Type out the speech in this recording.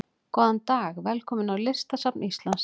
Góðan dag. Velkomin á Listasafn Íslands.